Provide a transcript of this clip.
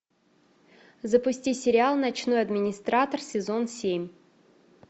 запусти сериал ночной администратор сезон семь